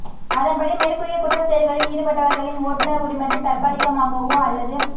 அதன்படி மேற்கூறிய குற்றச் செயல்களில் ஈடுபட்டவர்களின் ஓட்டுநர் உரிமத்தை தற்காலிகமாகவோ அல்லது